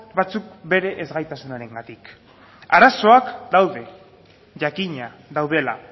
batzuk bere ezgaitasunarengatik arazoak daude jakina daudela